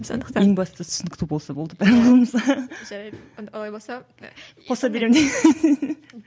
сондықтан ең бастысы түсінікті болса болды да